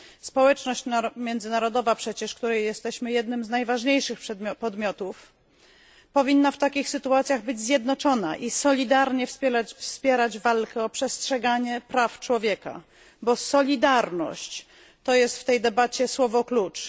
Społeczność międzynarodowa przecież, której jesteśmy jednym z najważniejszych podmiotów, powinna w takich sytuacjach być zjednoczona i solidarnie wspierać walkę o przestrzeganie praw człowieka, bo solidarność to jest w tej debacie słowo klucz.